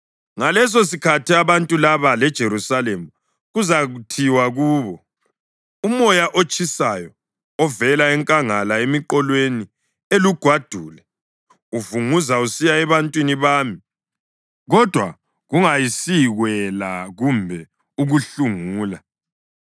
Ngalesosikhathi abantu laba leJerusalema kuzathiwa kubo, “Umoya otshisayo ovela enkangala emiqolweni elugwadule uvunguza usiya ebantwini bami, kodwa kungayisikwela kumbe ukuhlungula,